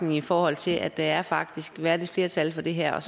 i forhold til at der faktisk er et flertal for det her og